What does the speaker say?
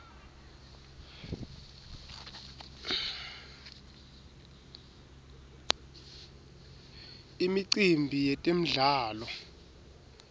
imicimbi yetemdlalo